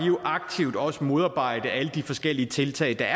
jo aktivt også modarbejdet alle de forskellige tiltag der